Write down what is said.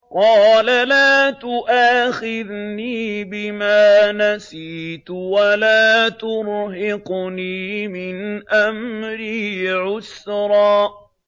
قَالَ لَا تُؤَاخِذْنِي بِمَا نَسِيتُ وَلَا تُرْهِقْنِي مِنْ أَمْرِي عُسْرًا